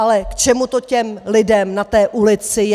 Ale k čemu to těm lidem na té ulici je?